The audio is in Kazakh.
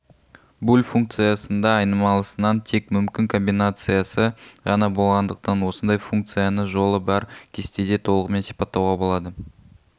буль функциясында айнымалысынан тек мүмкін комбинациясы ғана болғандықтан осындай функцины жолы бар кестеде толығымен сипаттауға болады